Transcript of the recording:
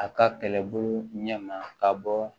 A ka kɛlɛbolo ɲɛ ma ka bɔ